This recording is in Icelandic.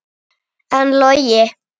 En Logi?